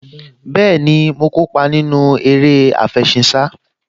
Bẹ́ẹ̀ni, mo kópa nínú eré àfẹṣinsá